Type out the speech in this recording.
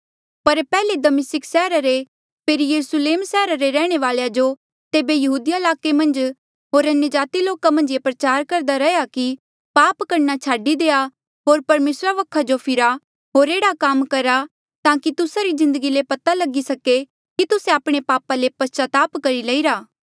पर पैहले दमिस्का सैहरा रे फेरी यरुस्लेम सैहरा रे रैहणे वालेया जो तेबे यहूदिया ईलाके रे मन्झ होर अन्यजाति लोका मन्झ ये प्रचार करदा रैहया कि पाप करणा छाडी देआ होर परमेसरा वखा जो फिरा होर एह्ड़ा काम करा ताकि तुस्सा री जिन्दगी ले पता लगी सके कि तुस्से आपणे पापा ले पस्चाताप करी लईरा